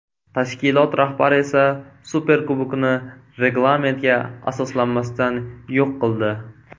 Tashkilot rahbari esa Superkubokni reglamentga asoslanmasdan yo‘q qildi.